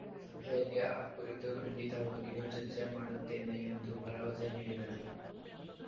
ಸಭೆಯಲ್ಲಿ ಆ ಕುರಿತು ಖಂಡಿತವಾಗಿಯೂ ಚರ್ಚೆ ಮಾಡುತ್ತೇನೆ ಎಂದು ಭರವಸೆ ನೀಡಿದರು